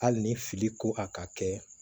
Hali ni fili ko a ka kɛ